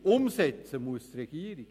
Umsetzen muss die Regierung.